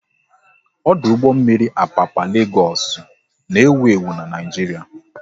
Ọdụ ụgbọ mmiri Apapa Legoosu n'ewu ewu n'Naijiria